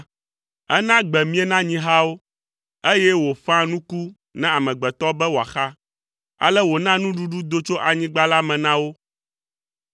Ena gbe mie na nyihawo, eye wòƒãa nuku na amegbetɔ be wòaxa, ale wòna nuɖuɖu do tso anyigba la me na wo;